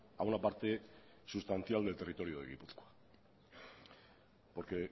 a una parte sustancial del territorio de gipuzkoa porque